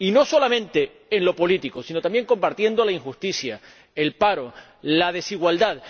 Y no solamente en lo político, sino también combatiendo la injusticia, el paro y la desigualdad.